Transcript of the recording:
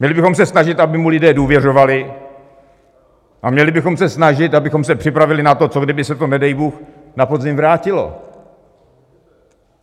Měli bychom se snažit, aby mu lidé důvěřovali, a měli bychom se snažit, abychom se připravili na to, co kdyby se to nedej bůh na podzim vrátilo.